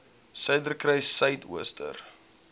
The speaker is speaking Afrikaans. suiderkruissuidooster